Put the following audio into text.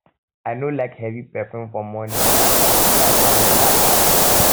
um i no like heavy perfume for morning na um light one beta pass